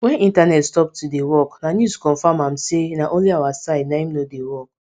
wen internet stop to dey work na news confam am say na only our side naim nor dey work